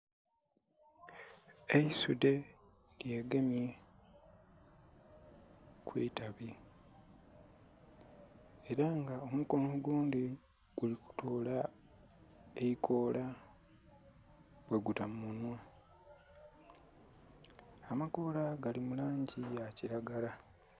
Eisudhe lyegemye ku itabi. Ela nga omukono ogundhi guli kutoola eikoola bwe guta mu munhwa amakoola gali mu langi ya kilagala.